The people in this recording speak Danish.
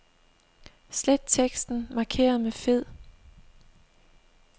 Slet teksten markeret med fed.